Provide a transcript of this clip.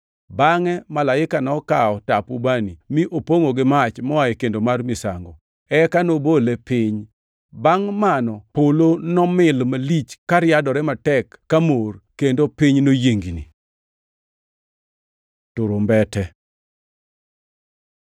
Bangʼe malaika nokawo tap ubani, mi opongʼo gi mach moa e kendo mar misango, eka nobole e piny. Bangʼ mano polo nomil malich kariadore matek ka mor, kendo piny noyiengni. Turumbete